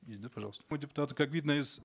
есть да пожалуйста как видно из